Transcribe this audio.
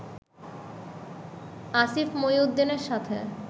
আসিফ মহিউদ্দিনের সাথে